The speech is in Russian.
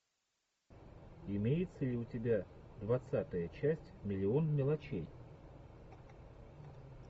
имеется ли у тебя двадцатая часть миллион мелочей